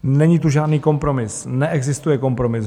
Není tu žádný kompromis, neexistuje kompromis.